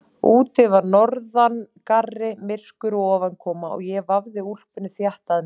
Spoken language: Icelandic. Úti var norðangarri, myrkur og ofankoma og ég vafði úlpunni þétt að mér.